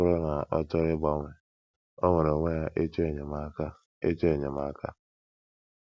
Ọ bụrụ na ọ chọrọ ịgbanwe, o nwere onwe ya ịchọ enyemaka. ịchọ enyemaka.